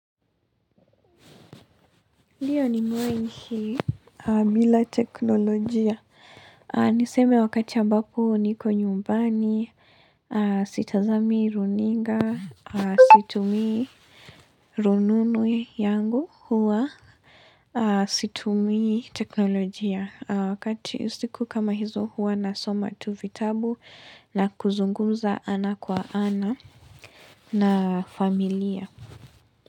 Ndio nimewahi ishi bila teknolojia. Niseme wakati ambapo niko nyumbani, sitazami runinga, situmii rununu yangu huwa. Situmii teknolojia wakati siku kama hizo huwa nasoma tu vitabu, na kuzungumza ana kwa ana na familia.